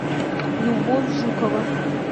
любовь жукова